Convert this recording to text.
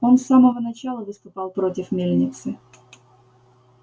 он с самого начала выступал против мельницы